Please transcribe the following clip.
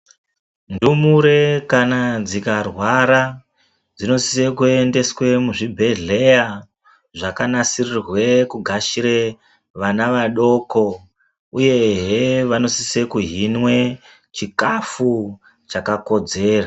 Ndumure kana dzikarwara dzinosise kuendeswe kuzvibhedhlera dzakanasiririrwe kugashira vana vadoko uyehe vanosise kuhinwe chikafu chakakodzera.